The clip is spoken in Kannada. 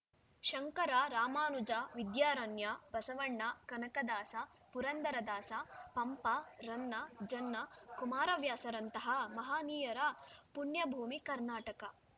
ಶಂಕರ ರಾಮಾನುಜ ವಿದ್ಯಾರಣ್ಯ ಬಸವಣ್ಣ ಕನಕದಾಸ ಪುರಂದರದಾಸ ಪಂಪ ರನ್ನ ಜನ್ನ ಕುಮಾರವ್ಯಾಸರಂತಹ ಮಹನೀಯರ ಪುಣ್ಯಭೂಮಿ ಕರ್ನಾಟಕ